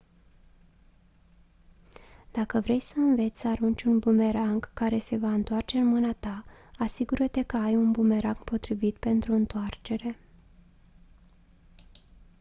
dacă vrei să înveți să arunci un bumerang care se va întoarce în mâna ta asigură-te că ai un bumerang potrivit pentru întoarcere